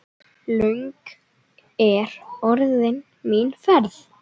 Löng er orðin mín ferð.